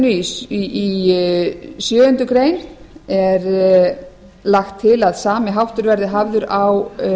í sjöundu greinar frumvarpsins er lagt til að sami háttur verði áður á